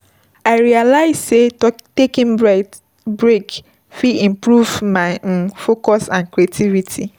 I realize sey taking breathes breaks fit improve my um focus and creativity.